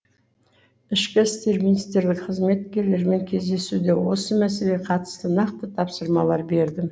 ішкі істер министрлігі қызметкерлерімен кездесуде осы мәселеге қатысты нақты тапсырмалар бердім